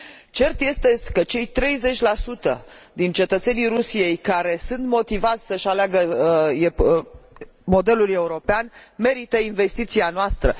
Cert este că cei 30 din cetățenii Rusiei care sunt motivați să își aleagă modelul european merită investiția noastră.